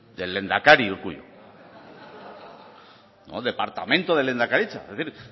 del lehendakari urkullu no departamento de lehendakaritza es decir